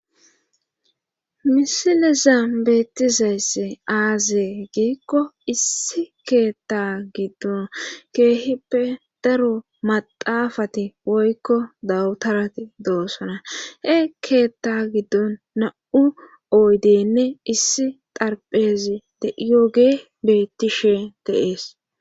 misilezan beettizaysse aazee giikko issi keetta giddon keehippe daro maxaafati woykko dawutarati doosona he keetta giddon na'u oydenne issi xarpheezi de'iyogee beettishe de'ees